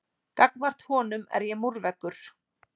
Gagnvart honum er ég múrveggur.